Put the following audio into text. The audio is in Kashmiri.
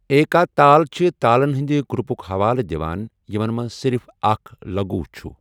ایکا تال چھِ تالَن ہنٛدِ گروپُک حوالہٕ دِوان یِمَن منٛز صرف اکھَ لغو چھُ ۔